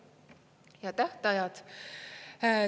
Ja tähtajad.